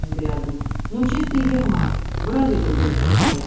взглядом ну чистый ермак бороды только не хватает